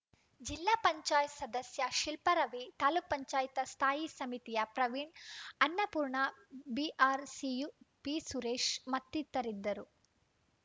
ಜಿಲ್ಲಾ ಪಂಚಾಯತ್ ಸದಸ್ಯೆ ಶಿಲ್ಪಾರವಿ ತಾಲೂಕ್ ಪಂಚಾಯತ ಸ್ಥಾಯಿ ಸಮಿತಿಯ ಪ್ರವೀಣ್‌ ಅನ್ನಪೂರ್ಣ ಬಿಆರ್‌ಸಿಯ ಪಿಸುರೇಶ್‌ ಮತ್ತಿತರರಿದ್ದರು